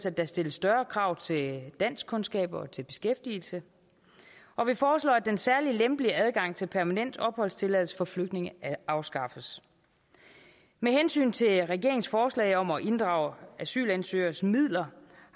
at der stilles større krav til danskkundskaber og til beskæftigelse og vi foreslår at den særlige lempelige adgang til permanent opholdstilladelse for flygtninge afskaffes med hensyn til regeringens forslag om at inddrage asylansøgeres midler